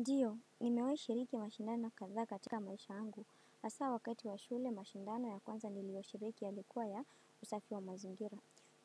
Ndiyo nimewahi shiriki mashindano kadhaa katika maisha yangu hasa wakati wa shule mashindano ya kwanza niliyo kushiriki ilikuwa ya usafi wa mazingira.